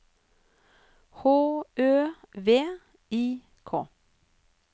H Ø V I K